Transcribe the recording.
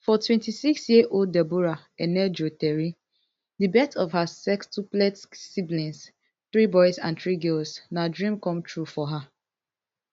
for twenty-six year old deborah enejueteri di birth of her sextuplets siblings three boys and three girls na dream come true for her